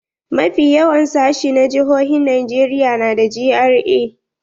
Mafi yawan sashi na jihohin Najeriya na da GRA.